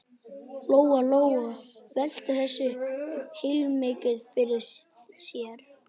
Lóa Lóa velti þessu heilmikið fyrir sér.